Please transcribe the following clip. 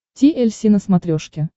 ти эль си на смотрешке